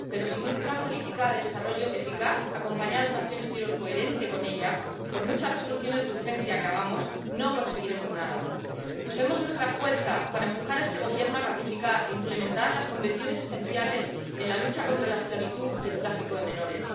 Pero, sin una política de desarrollo eficaz acompañada de una acción exterior coherente con ella, por muchas resoluciones de urgencia que hagamos no conseguiremos nada. Usemos nuestra fuerza para empujar a este Gobierno a ratificar e implementar los convenios esenciales sobre la lucha contra la esclavitud y el tráfico de menores.